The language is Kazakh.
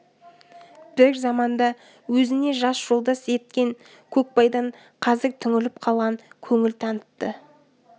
бір заманда өзіне жас жолдас еткен көкбайдан қазір түңіліп қалған көңіл танытты